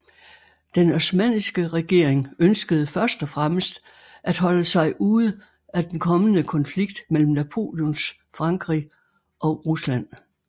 Den osmanniske regering ønskede først og fremmest at holde sig ude at den kommende konflikt mellem Napoleons Frankrig og Rusland